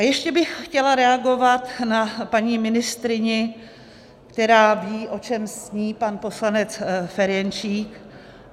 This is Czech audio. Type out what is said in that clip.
A ještě bych chtěla reagovat na paní ministryni, která ví, o čem sní pan poslanec Ferjenčík.